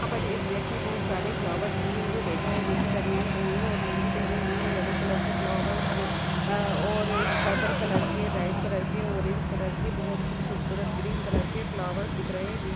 यहां पे एक व्यक्ति बहुत सारे फ्लवार लिए हुए बेठा है जो की बनियान पहने हुए है और लुंगी पहने हुए हैं यल्लो कलर फ्लवार और परपल कलर रेड कलर ले ओरेंज कलर के बहुत ही खुबसूरत ग्रीन कलर के फ्लवार दिख रहे हैं।